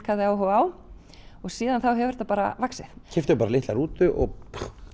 hafði áhuga á og síðan hefur þetta bara vaxið keyptum bara litla rútu og